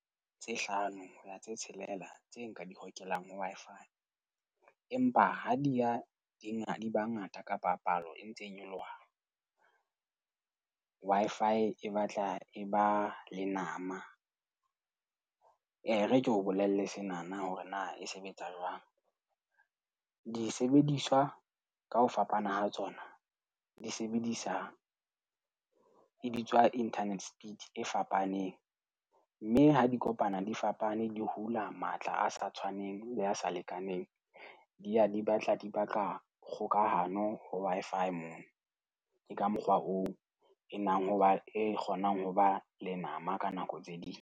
Tse hlano tse tshelela tse nka di hokelang ho Wi-Fi. Empa ha di ya di di ba ngata, kapa palo e ntse e nyoloha, Wi-Fi e batla e ba lenama. E, e re ke o bolelle senana, hore na e sebetsa jwang. Disebediswa ka ho fapana ha tsona, di sebedisa, e bitswa internet speed e fapaneng. Mme ha di kopana di fapane, di hula matla a sa tshwaneng le a sa lekaneng, di a di batla di baka kgokahano ho Wi-Fi mane . Ke ka mokgwa oo e nang hoba e kgonang ho ba lenama ka nako tse ding.